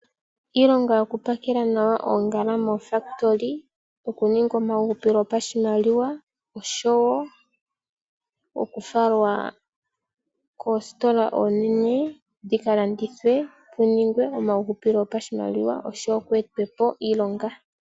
Iilonga yokupakela nawa oongala moofakitoli. Okuninga omahupilo gopashimaliwa osho wo okufalwa koositola oonene dhi ka landithwe ningwe omahupilo gopashimaliwa osho wo ku etwe po iilonga.